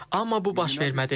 Amma bu baş vermədi.